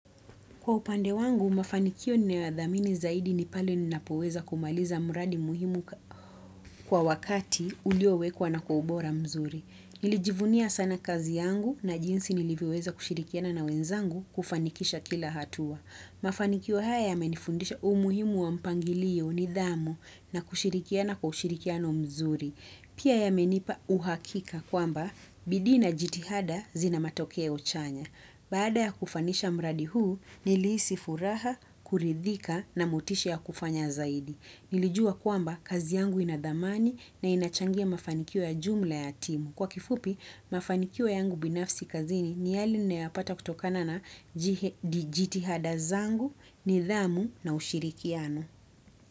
Kwa upande wangu, mafanikio ninayoyathamini zaidi ni pale ninapoweza kumaliza mradi muhimu kwa wakati uliowekwa na kwa ubora mzuri. Nilijivunia sana kazi yangu na jinsi nilivyoweza kushirikiana na wenzangu kufanikisha kila hatua. Mafanikio haya yamenifundisha umuhimu wa mpangilio nidhamu na kushirikiana kwa ushirikiano mzuri. Pia yamenipa uhakika kwamba bidii na jitihada zina matokeo chanya. Baada ya kufanisha mradi huu, nilihisi furaha, kuridhika na motisha ya kufanya zaidi. Nilijua kwamba kazi yangu inathamani na inachangia mafanikio ya jumla ya timu. Kwa kifupi, mafanikio yangu binafsi kazini ni yale nayoyapata kutokana na jitihada zangu, nidhamu na ushirikiano.